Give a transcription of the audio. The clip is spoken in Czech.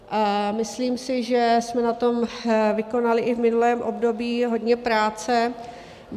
Myslím si, že jsme na tom vykonali i v minulém období hodně práce.